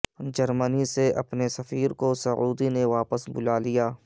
جرمنی سے اپنے سفیر کو سعودی نے واپس بلالیا